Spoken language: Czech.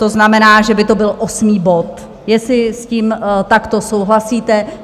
To znamená, že by to byl osmý bod, jestli s tím takto souhlasíte.